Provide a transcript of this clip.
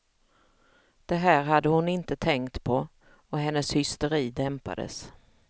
Det här hade hon inte tänkt på, och hennes hysteri dämpades.